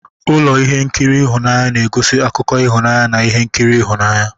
Ụlọ ihe nkiri ịhụnanya na-egosi akụkọ ịhụnanya na ihe nkiri ịhụnanya.